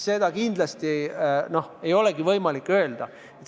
Seda kindlasti ei ole võimalik öelda.